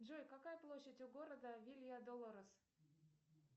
джой какая площадь у города вилья долорес